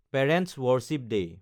parents' worship day